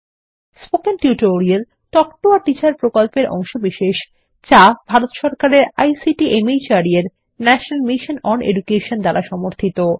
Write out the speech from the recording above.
spoken tutorial talk to a teacher প্রকল্পের অংশবিশেষ যা ভারত সরকারের আইসিটি মাহর্দ এর ন্যাশনাল মিশন ওন এডুকেশন দ্বারা সমর্থিত